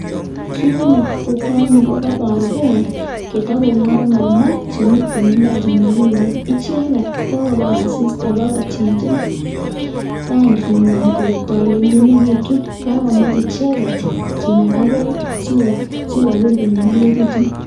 Kit netesetai en ireyuu ko koboor beek chetakongorngormaa, chemiten imbaar chenyolileen, icheket ko kokobaar asista bakowal ranginywan bokotolelyoketun kakomach icheget kinagaa beek sikobur konyolilekitun